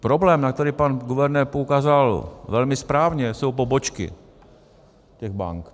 Problém, na který pan guvernér poukázal velmi správně, jsou pobočky těch bank.